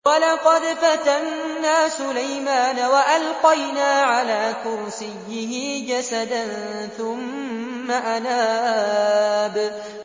وَلَقَدْ فَتَنَّا سُلَيْمَانَ وَأَلْقَيْنَا عَلَىٰ كُرْسِيِّهِ جَسَدًا ثُمَّ أَنَابَ